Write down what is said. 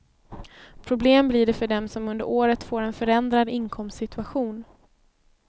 Problem blir det för dem som under året får en förändrad inkomstsituation.